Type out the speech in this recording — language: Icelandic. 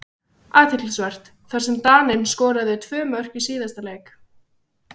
Athyglisvert, þar sem Daninn skoraði tvö mörk í síðasta leik.